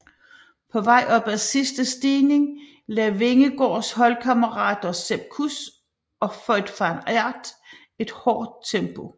På vej op ad sidste stigning lagde Vingegaards holdkammerater Sepp Kuss og Wout van Aert et hårdt tempo